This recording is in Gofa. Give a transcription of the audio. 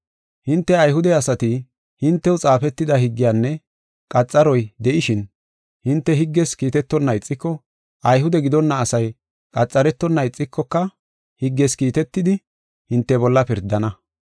Hinte, Ayhude asati, hintew xaafetida higgeynne qaxaroy de7ishin, hinte higges kiitetonna ixiko, Ayhude gidonna asay qaxaretonna ixikoka higges kiitetidi, hinte bolla pirdana.